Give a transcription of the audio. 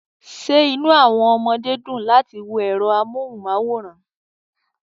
Ṣé inú àwọn ọmọdé dùn láti wo ẹ̀rọ amóhùnmáwòrán